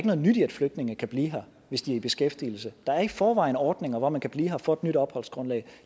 noget nyt i at flygtninge kan blive her hvis de er i beskæftigelse der er i forvejen ordninger hvor man kan blive her og få et nyt opholdsgrundlag